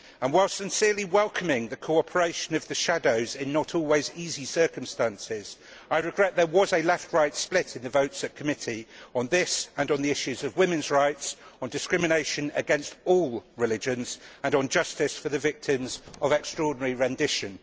Whilst sincerely welcoming the cooperation of the shadow rapporteurs in not always easy circumstances, I regret that there was a left right split in the votes at committee on this and on the issues of women's rights, on discrimination against all religions and on justice for the victims of extraordinary rendition.